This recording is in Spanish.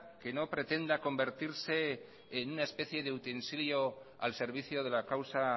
que no pretenda convertirse en una especie de utensilio al servicio de la causa